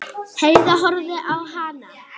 Heiða horfði á hana.